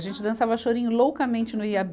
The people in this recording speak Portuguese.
A gente dançava chorinho loucamente no Iabê.